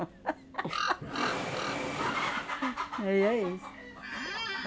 (risos, cacarejos) Aí é isso.